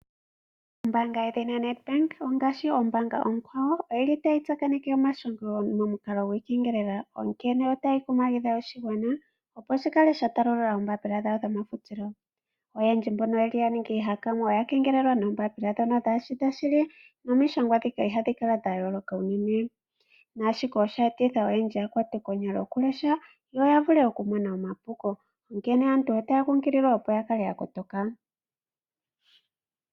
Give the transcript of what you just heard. Ombaanga yoNedbank ongaashi oombaanga oonkwawo oyili tayi tsakaneke omashongo kiikengelela onkene otayi kunkilile oshigwana, opo ya kale yatalulula oombapila dhawo dhomagfutilo. Oyendji mbono ya ningi iihakanwa oya kengelelwa noombapila ndhono kadhishi dho shili nomishangwa dhika ihadhi kala dha yooloka unene. Shino osheeta onyalo yokulesha nokumona omapuko onkene aantu otaya kunkililwa opo yakale yakotoka.